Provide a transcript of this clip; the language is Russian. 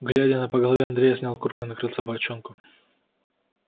гладя на по голове андрей снял куртку и накрыл собачонку